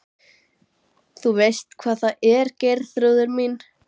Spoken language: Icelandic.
Þú veist hvað það er Geirþrúður mín.